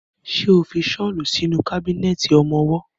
Ṣo fi ṣọ́lù sínú kábínẹ̀tì ọmọwọ́?